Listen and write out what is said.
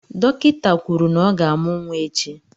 Dọkịta kwuru na ọ ga-amụ́ nwa echi.